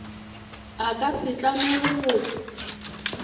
a ka se tlamege go